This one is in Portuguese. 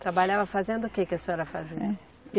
Trabalhava fazendo o que que a senhora fazia?